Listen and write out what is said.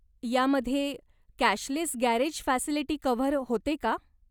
यामध्ये cashless garage facility cover होते का?